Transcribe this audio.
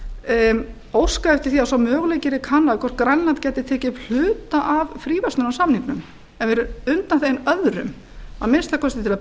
eftir því að sá möguleiki yrði kannaður hvort grænland gæti tekið upp hluta af fríverslunarsamningnum en yrði undanþeginn öðrum að minnsta kosti til að